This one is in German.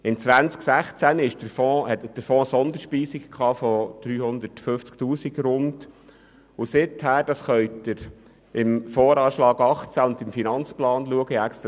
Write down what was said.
2016 erhielt der Fonds eine Sonderspeisung von rund 350 000 Franken, und seither können Sie die Zahlen dem Voranschlag 2018 (VA 18) und dem Aufgaben- und Finanzplan (AFP) 2018–2022 entnehmen.